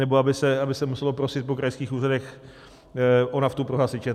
Nebo aby se muselo prosit po krajských úřadech o naftu pro hasiče.